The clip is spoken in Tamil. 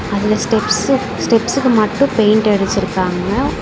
அதுல ஸ்டெப்ஸ்ஸு ஸ்டெப்ஸ்ஸுக்கு மட்டு பெயிண்ட் அடுச்சுருக்காங்க.